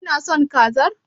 Kina son kazar?